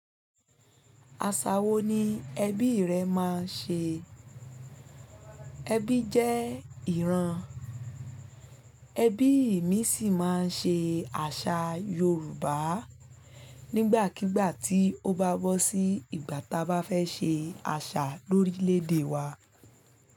Aṣa wo ni ẹbí rẹ máa ń ṣe? Ẹbí jẹ́ ìran, ẹbí mi sì máa ń ṣe àṣà Yorùbá nígbàkígbà tí ó bá bọ́ sí ìgbà táa bá fẹ́ ṣe àṣà lórílẹ̀ èdè wa.